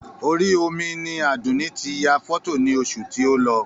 Orí omi ni Àdùnní ti yà fọ́tò ní oṣù tí o lọ